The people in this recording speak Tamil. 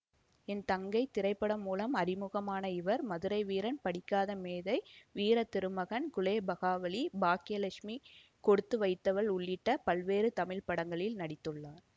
என் தங்கை திரைப்படம் மூலம் அறிமுகமான இவர் மதுரைவீரன் படிக்காத மேதை வீரத்திருமகன் குலேபகாவலி பாக்கிய லட்சுமி கொடுத்து வைத்தவள் உள்ளிட்ட பல்வேறு தமிழ் படங்களில் நடித்துள்ளார்